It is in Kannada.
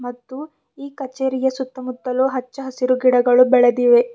ಮತ್ತು ಈ ಕಚೇರಿಯ ಸುತ್ತಮುತ್ತಲು ಹಚ್ಚ ಹಸಿರು ಗಿಡಗಳು ಬೆಳೆದಿವೆ.